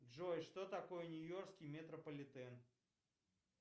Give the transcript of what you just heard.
джой что такое нью йоркский метрополитен